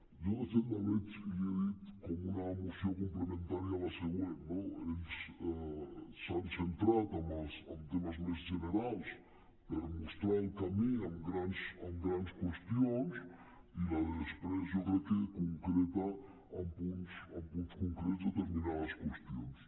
jo de fet la veig i l’hi he dit com una moció complementària a la següent no ells s’han centrat en temes més generals per mostrar el camí amb grans qüestions i la de després jo crec que concreta amb punts concrets determinades qüestions